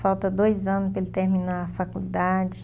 Falta dois anos para ele terminar a faculdade.